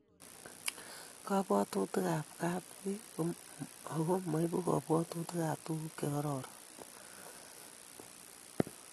Kabwatutikabchi ko makiy ago moibu kabwatutikab tuguk chekororon